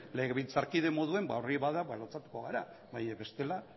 legebiltzarkide moduen ba hori bada ba lotsatuko gara baina bestela